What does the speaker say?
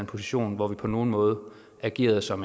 position hvor vi på nogen måde agerede som